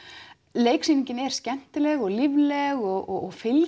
leiksýningin er skemmtileg og lífleg og fylgir